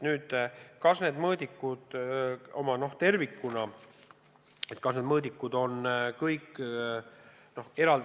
Nüüd, kas need mõõdikud on piisavad?